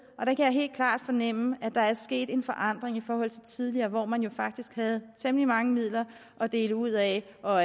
helt klart fornemme at der er sket en forandring i forhold til tidligere hvor man jo faktisk havde temmelig mange midler at dele ud af og